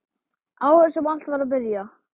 Árið sem allt var að byrja.